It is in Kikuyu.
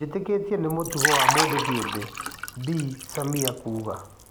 Njĩtĩkĩtie nĩ mũtugo wa mũndũ kĩũmbe," Bi Samia kuuga.